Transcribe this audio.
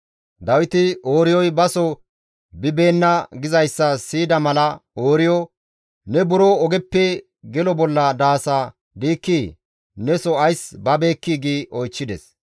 Dawiti, «Ooriyoy baso bibeenna» gizayssa siyida mala Ooriyo, «Ne buro ogeppe gelo bolla daasa diikkii? Neso ays babeekkii?» gi oychchides.